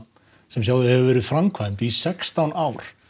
sem hefur verið framkvæmd í sextán ár